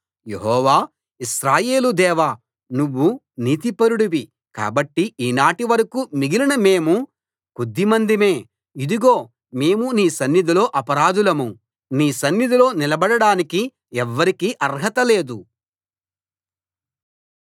యెహోవా ఇశ్రాయేలు దేవా నువ్వు నీతిపరుడివి కాబట్టి ఈనాటి వరకూ మిగిలిన మేము కొద్దిమందిమే ఇదిగో మేము నీ సన్నిధిలో అపరాధులం నీ సన్నిధిలో నిలబడడానికి ఎవ్వరికీ అర్హత లేదు